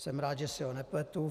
Jsem rád, že si ho nepletu.